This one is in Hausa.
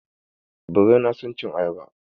Birai na son cin ayaba.